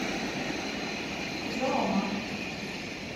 зоомаг